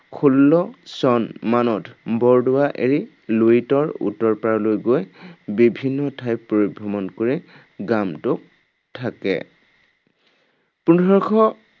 ষোল্ল চন মানত বৰদোৱা এৰি লুইতৰ উত্তৰপাৰলৈ গৈ বিভিন্ন ঠাই পৰিভ্ৰমণ কৰি গামটোত থাকে। পোন্ধৰশ